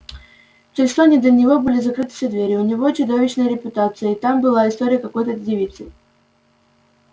в чарльстоне для него закрыты все двери у него чудовищная репутация и там была история с какой-то девицей